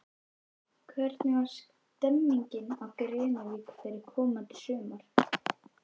Hvernig er stemmingin á Grenivík fyrir komandi sumar?